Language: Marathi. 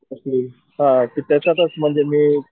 हम्म हा तर त्याच्यात मी